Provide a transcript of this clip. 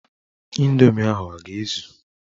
Ịndoomi ahụ a ga-ezu?